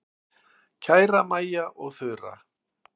Kæru Maja og Þura.